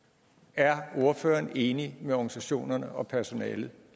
er ordføreren enig med organisationerne og personalet